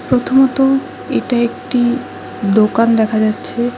প্রথমত এটা একটি দোকান দেখা যাচ্ছে।